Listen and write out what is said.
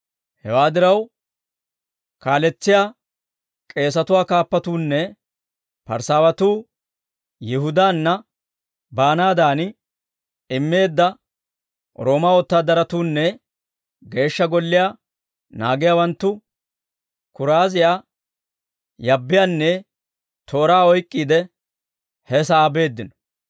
Hewaa diraw, kaaletsiyaa k'eesatuwaa kaappatuunne Parisaawatuu Yihudaanna baanaadan immeedda Roomaa wotaadaratuunne Geeshsha Golliyaa naagiyaawanttu kuraaziyaa, yabbiyaanne tooraa oyk'k'iide he sa'aa beeddino.